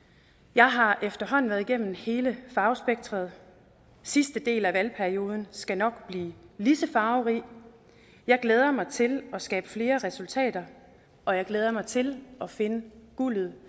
jeg har efterhånden været igennem hele farvespektret sidste del af valgperioden skal nok blive lige så farverig jeg glæder mig til at skabe flere resultater og jeg glæder mig til at finde guldet